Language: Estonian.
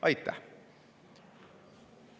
Aitäh!